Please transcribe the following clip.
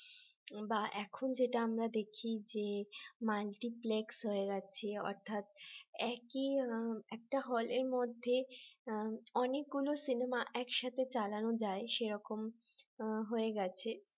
বা এখন যেটা আমরা দেখি যে multiplex হয়ে গেছে অর্থাৎ একই একটা hall এর মধ্যে অনেকগুলো সিনেমা একসাথে চালানো যায় সেরকম হয়ে গেছে